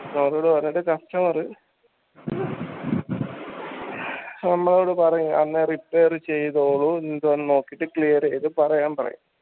sir നോട് പറഞ്ഞിട്ട് customer നമ്മളോട് പറയും എന്നാ repare ചെയ്തോളു എന്താ നോക്കീട്ട് clear എയ്ത് പറയാൻ പറയും